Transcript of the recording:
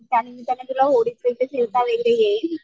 त्यानिमित्ताने तुला होडीत वगैरे फिरता वगैरे येईल.